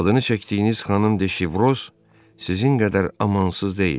Adını çəkdiyiniz xanım de Şevroz sizin qədər amansız deyildi.